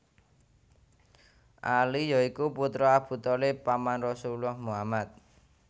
Ali ya iku putra Abu Thalib paman Rasulullah Muhammad